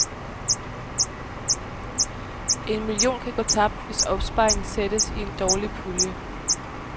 En million kan gå tabt, hvis opsparingen sættes i en dårlig pulje.